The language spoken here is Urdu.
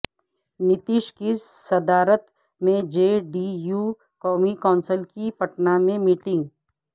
نتیش کی صدارت میں جے ڈی یو قومی کونسل کی پٹنہ میں میٹنگ